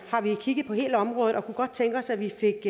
kigget på hele området og vi kunne godt tænke os at vi fik